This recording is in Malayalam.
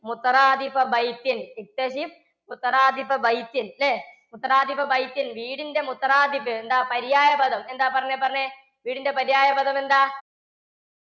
അല്ലേ? വീടിൻറെ എന്താ പര്യായപദം പറഞ്ഞേ പറഞ്ഞേ. വീടിൻറെ പര്യായ പദം എന്താ?